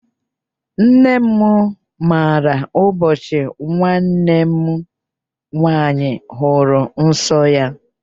Nna m maara ụbọchị nwanne m nwaanyị hụrụ nsọ ya.